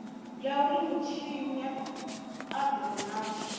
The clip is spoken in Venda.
ya uri mutshinyi a divhonadze